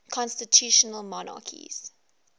constitutional monarchies